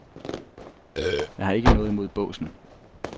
Jeg har ikke noget imod båsen.